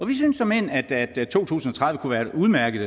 vi synes såmænd at to tusind og tredive kunne være et udmærket